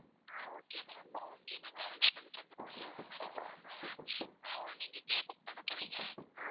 ஆஹ் okay ma'am okay நாங்க arrange பண்ணி தருவோம். எவ்ளோ நாளைக்கு ma'am அஹ் நீங்க இங்க book பண்ண போறீங்க?